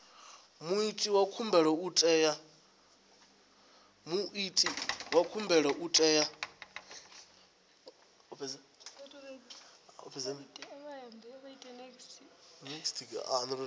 muiti wa khumbelo u tea